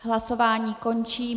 Hlasování končím.